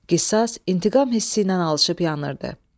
Qisas intiqam hissi ilə alışıb-yanırdı.